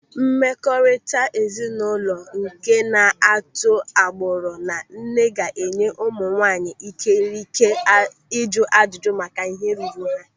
Mmekọrịta ezinụlọ nke na-atụ agbụrụ na nne ga-enye ụmụ nwaanyị ikikere ịjụ ajụjụ maka ihe ruru ha.